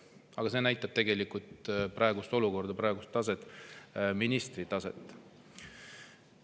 Aga see näitab tegelikult praegust olukorda, praegust taset – ministri taset.